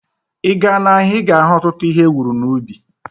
Ịga n'ahia, ịga ahu ọtụtụ ihe ewuru n'ubi